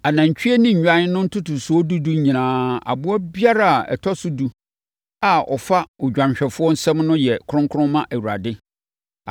Anantwie ne nnwan no ntotosoɔ dudu nyinaa, aboa biara a ɔtɔ so edu a ɔfa odwanhwɛfoɔ nsam no yɛ kronkron ma Awurade.